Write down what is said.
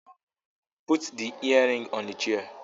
Put the earrings on the chair